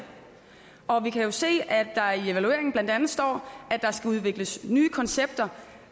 og vi kan se at der i evalueringen blandt andet står at der skal udvikles nye koncepter